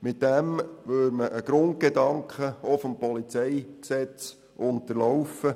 Damit würde man einen Grundgedanken des PolG unterlaufen.